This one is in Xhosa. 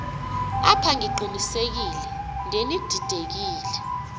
apha ndiqinisekile ngenididekile